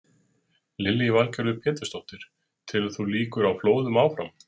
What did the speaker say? Lillý Valgerður Pétursdóttir: Telur þú líkur á flóðum áfram?